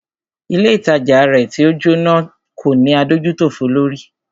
Ilé ìtajà rẹ̀ tí o Jóná kò ní adójútòfò lórí.